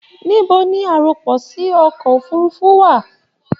Nibo ni arọpòsí ọkọ òfurùnfu wa?